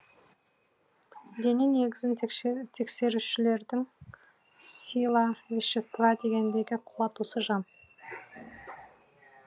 дене негізін тексерушілердің сила вещества дегендегі қуат осы жан